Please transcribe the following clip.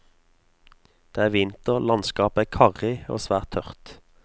Det er vinter, landskapet er karrig og svært tørt.